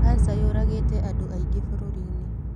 Kanja yũragĩte andũ aingĩbũrũri-inĩ.